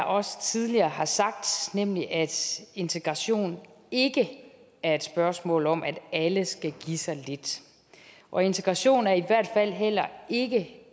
også tidligere har sagt nemlig at integration ikke er et spørgsmål om at alle skal give sig lidt og integration er i hvert fald heller ikke